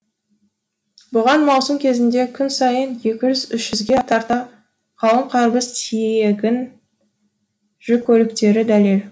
бұған маусым кезінде күн сайын екі жүз үш жүзге тарта қауын қарбыз тиегін жүк көліктері дәлел